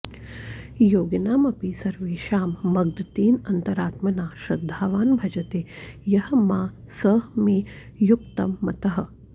योगिनाम् अपि सर्वेषां मद्गतेन अन्तरात्मना श्रद्धावान् भजते यः मां सः मे युक्ततमः मतः